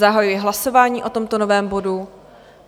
Zahajuji hlasování o tomto novém bodu.